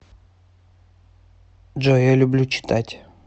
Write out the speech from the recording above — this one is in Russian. джой я люблю читать